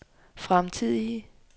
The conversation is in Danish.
fremtidige